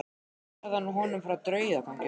Svo sagði hann honum frá draugaganginum.